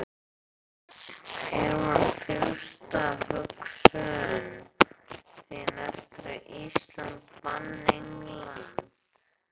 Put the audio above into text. Hver var fyrsta hugsun þín eftir að Ísland vann England?